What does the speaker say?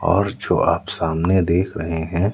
और जो आप सामने देख रहे हैं।